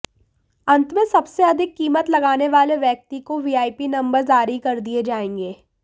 अंत में सबसे अधिक कीमत लगाने वाले व्यक्ति काे वीआईपी नंबर जारी कर दिए जाएंगे